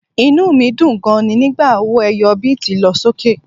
Inú mi dùn gan-an ni nígbà owó ẹyọ bíìtì lọ sókè